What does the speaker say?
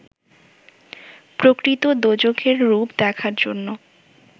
প্রকৃত দোজখের রূপ দেখার জন্য